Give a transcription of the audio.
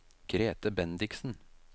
Grethe Bendiksen